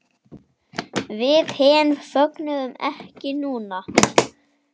Við hin fögnum ekki núna.